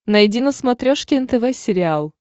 найди на смотрешке нтв сериал